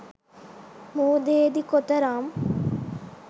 මුහුදේදී කොතරම්